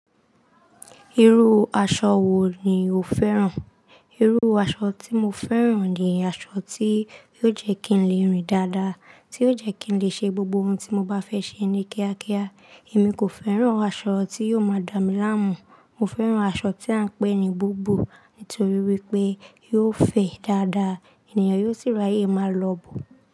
Irú aṣọ wo ni o féràn? Irú aṣọ tí mo féràn ni aṣọ tí yóò jẹ́ kí n lè rìn dáadáa, tí yóò jẹ́ kí n lè ṣe gbogbo ohun tí mo bá fẹ́ ṣe ní kíákíá. Èmi kò féràn aṣọ tí yóò máa dá mi láàmú. Mo féràn aṣọ tí à ń pè ní bùbù, nítorí wípé yóò fẹ̀ dáadáa, ènìyàn yóò sì ràye máa lòbò.